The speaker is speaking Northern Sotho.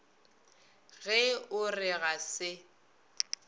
ge o re ga se